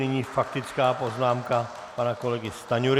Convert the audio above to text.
Nyní faktická poznámka pana kolegy Stanjury.